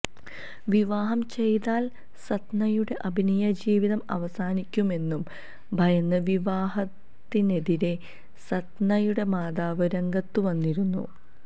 വിവാഹം ചെയ്താൽ സത്നയുടെ അഭിനയജീവിതം അവസാനിക്കുമെന്നു ഭയന്ന് വിവാഹത്തിനെതിരേ സത്നയുടെ മാതാവ് രംഗത്തുവന്നിരുന്നു